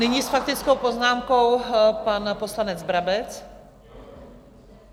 Nyní s faktickou poznámkou pan poslanec Brabec.